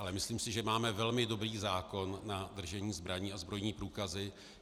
Ale myslím si, že máme velmi dobrý zákon na držení zbraní a zbrojní průkazy.